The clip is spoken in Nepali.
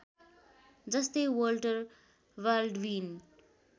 जस्तै वल्टर बाल्डविन